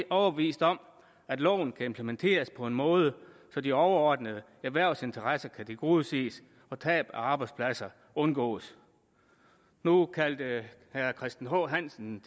overbevist om at loven kan implementeres på en måde så de overordnede erhvervsinteresser kan tilgodeses og tab af arbejdspladser undgås nu kaldte herre christian h hansen